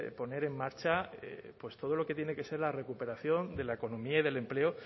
poner en marcha pues todo lo que tiene que ser la recuperación de la economía y del empleo